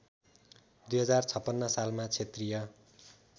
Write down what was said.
२०५६ सालमा क्षेत्रीय